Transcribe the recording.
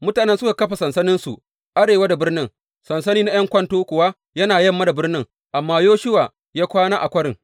Mutanen suka kafa sansaninsu arewa da birnin, sansani na ’yan kwanto kuwa yana yamma da birnin, amma Yoshuwa ya kwana a kwarin.